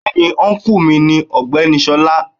Bẹ́ẹ̀ni ọ́nkù mi ni ọ̀gbẹ́ni Ṣọlá.